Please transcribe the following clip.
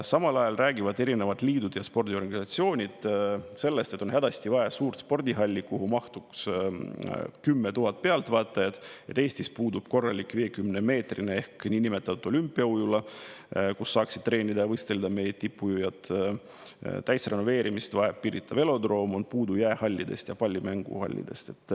Samal ajal räägivad erinevad liidud ja spordiorganisatsioonid, et on hädasti vaja suurt spordihalli, kuhu mahuks 10 000 pealtvaatajat, ning et Eestis puudub korralik 50‑meetrine ehk niinimetatud olümpiaujula, kus saaksid treenida ja võistelda meie tippujujad, täisrenoveerimist vajab Pirita velodroom, on puudu jäähallidest ja pallimänguhallidest.